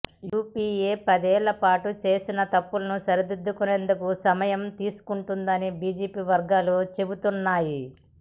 UPA పదేళ్ల పాటు చేసిన తప్పులను సరిదిద్దేందుకు సమయం తీసుకుంటుందని బీజేపీ వర్గాలు చెబుతున్నాయి